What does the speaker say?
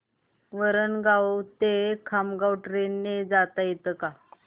वरणगाव ते खामगाव ट्रेन ने जाता येतं का